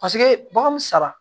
Paseke bagan